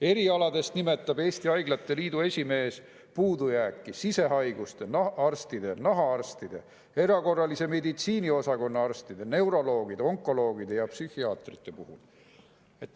Erialadest rääkides nimetab Eesti Haiglate Liidu esimees puudujääki sisehaiguste arstide, nahaarstide, erakorralise meditsiini osakonna arstide, neuroloogide, onkoloogide ja psühhiaatrite puhul.